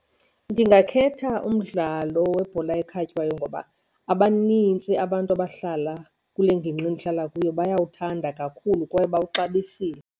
Ndingakhetha umdlalo webhola ekhatywayo ngoba abanintsi abantu abahlala kule ngingqi ndihlala kuyo bayawuthanda kakhulu kwaye bawuxabisile.